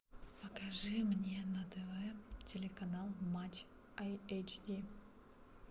покажи мне на тв телеканал матч ай эйч ди